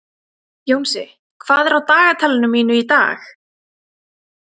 Jónsi, hvað er á dagatalinu mínu í dag?